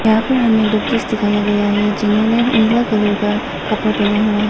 यहां पर हमें डॉक्टर्स दिखाया गया है जिन्होंने नीला कलर का कपड़ा पहना हुआ है।